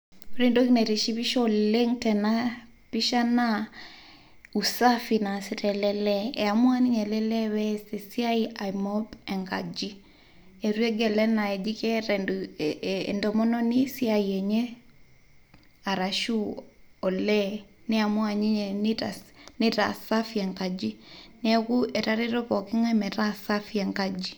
ore entoki naitishipisho oleng' tena pisha naa usafi naasita ele lee. ee maua ninye ele lee ai mob enkaji . eitu egel enaa peas entomononi esiai enye arashu olee , niamua ninye nitaa safi enkaji , neaku etareto pooki ngae metaa safi enkaji.